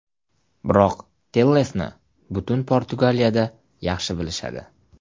Biroq Tellesni butun Portugaliyada yaxshi bilishadi.